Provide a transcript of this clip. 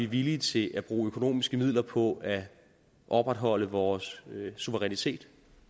villige til at bruge økonomiske midler på at opretholde vores suverænitet